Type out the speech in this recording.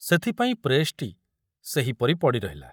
ସେଥପାଇଁ ପ୍ରେସଟି ସେହିପରି ପଡ଼ି ରହିଲା।